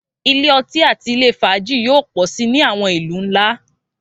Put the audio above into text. Ilé ọtí àti ilé fàájì yóò pọ̀ si ni àwọn ìlú ńlá